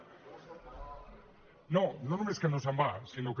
no no només que no se’n va sinó que